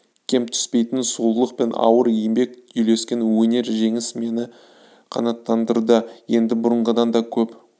кем түспейтін сұлулық пен ауыр еңбек үйлескен өнер жеңіс мені қанаттандырды енді бұрынғыдан да көп